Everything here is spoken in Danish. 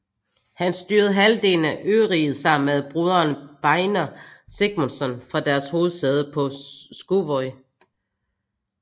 Han styrede halvdelen af øriget sammen med broderen Beinir Sigmundsson fra deres hovedsæde på Skúvoy